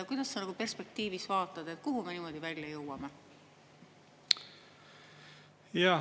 Kuidas sa nagu perspektiivis vaatad, kuhu me niimoodi välja jõuame?